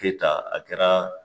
Keyita a kɛra